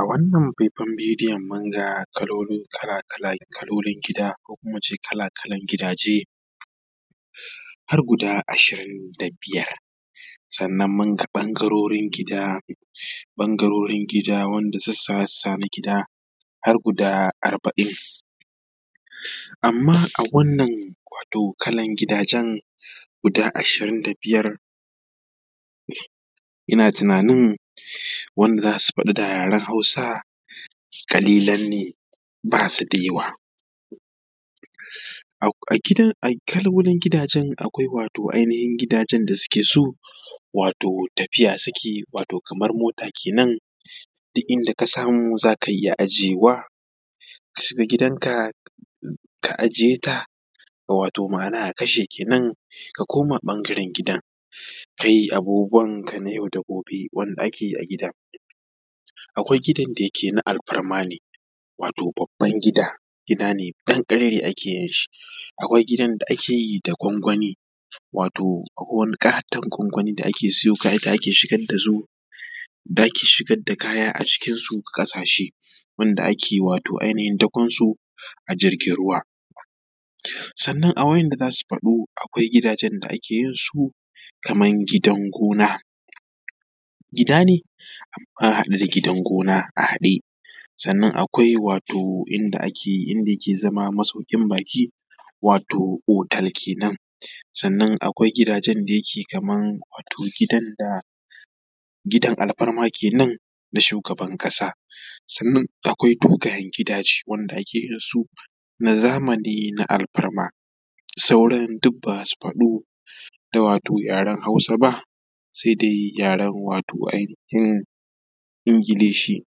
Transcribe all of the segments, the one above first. A wannan faifayan bidiyon mun ga kalolin gida, ko kuma mu ce kala-kalan gidaje har guda ashirin da biyar, sannan mun ga ɓangarorin gida wanda sassa na gida har guda arba’in. Amma a wannan kalan gidajen guda ashirin da biyar ina tunanin wanda da za su faɗi da yaran Hausa ƙalilan ne ba su da yawa. A kalolin gidajen akwai ainahin gidajen da suke so tafiya suke yi kamar mota kenan, duk inda ka samu za ka iya aje wa ka shiga gidanka ka aje ta ma’ana ka kashe kenan ka koma ɓangaren gidan ka yi abubuwanka na yau da gobe wanda ake yi a gidan. Akwai gidan da yake na alfarma ne babban gida, gida ne danƙararre ake yin shi; akwai gidan da ake yi da gwangwani; akwai wani ƙaton gwangwani da ake siyo kaya da ake shigar da su a ciki a ƙashe wanda ake dakon su a jirgin ruwa. Sannan a waɗanda za su faɗu akwai gidan da ake yin su kaman gidan gona. Gida ne amma a haɗe da gidan gona a haɗe. Sannan akwai inda yake zama masaukin baƙi ya zamanto hotel kenan. Akwai gidajen da yake kaman gidan alfarma kenan na shugaban ƙasa. Sannan akwai dogayen gidaje wanda ake yin su na zamani na alfarma, sauran duk ba su da yaran Hausa sai dai yaran wato ainahin Ingilishi.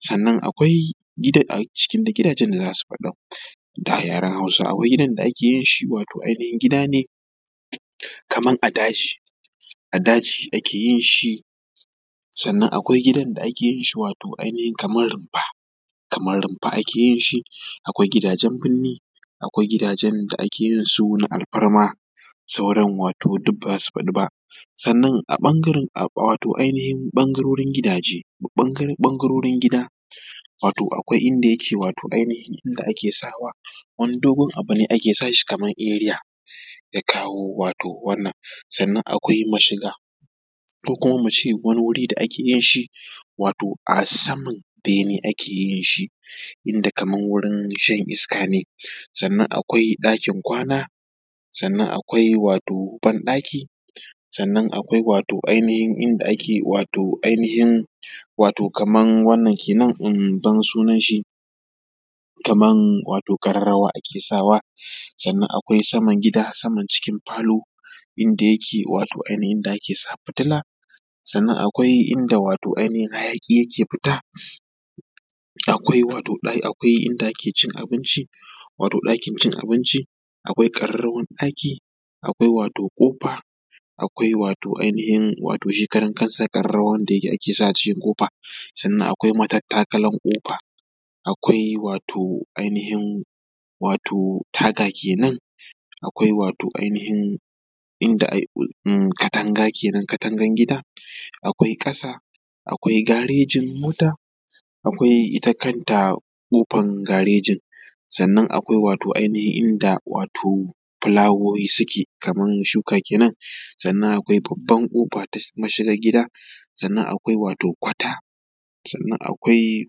Sannan akwai a cikin gidajen da za su faɗu da yaran Hausa akwai gidan da ake yin shi wato ainahin gida ne kaman a daji, a daji ake yin shi. Sannan akwai gidan da ake yin shi kamar rumfa, kaman rumfa ake yin shi. Akwai gidajen birni, akwai gidajen da ake yin su na alfarma, sauran wato duk ba za su faɗu ba. Sannan a ɓangaren gidaje ɓangarorin gida akwai inda yake wato ainahin ake sawa wani dogon abu ne ake sawa kaman area da yake kawowa. Sannan akwai mashiga ko kuma a ce wani wuri da ake yin shi a saman bene ake yin shi inda kaman wajan shan iska ne. Sannan akwai ɗakin kwana, sannan akwai banɗaki, sannan akwai ainahin inda ake ban sunan shi wato ƙararrawa ake sa wa. Sannan akwai saman gida, saman cikin falo inda wato ake sa fitila. Sannan akwai inda hayaƙi yake fita, akwai inda ake cin abinci wato ɗakin cin abinci, akwai ƙararrawan ɗaki, akwai ƙofa, akwai ainahin shi kaɗan kansa ƙararrawa wanda ake sa wa a jikin ƙofa. Sannan akwai matakalan ƙofa, akwai ainahin taga kenan, akwai wato katangan gida kenan, akwai ƙasa, akwai garejin mota, akwai ita kanta ƙofan garejin. Sannan akwai ainahin inda wato filawowi suke kaman shuka kenan. Sannan akwai babban ƙofa ta mashiga gida, sannan wato akwai kwata, sannan akwai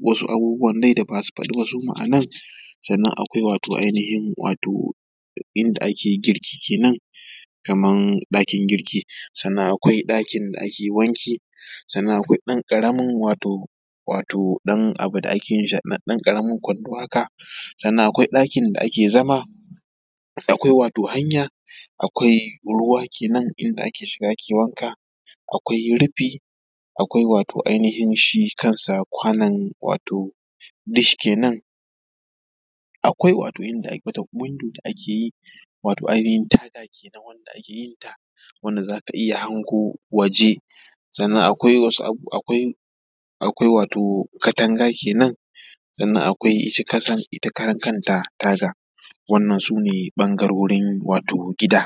wasu abubuwan da ba za su faɗu ba suma a nan. Sannan akwai ainahin inda ake girki kenan kaman ɗakin girki, sannan akwai ɗakin da ake wanki, sannan akwai ɗan ƙaramin wato ɗan ƙaramin kwando haka, sannan akwai ɗakin da ake zama, akwai hanya, akwai ruwa inda ake shiga ake wanka, akwai rufi, akwai wato ainahin shi ainahin shi kansa kwanon dish kenan, akwai wato wata window da ake yi a matsayin taga wanda zaka iya hango waje, sannan akwai katanga kenan, sannan akwai ita ƙaran kanta taga. Wannan su ne ɓangarorin wato gida.